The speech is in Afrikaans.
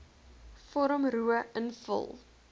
vorm ro invul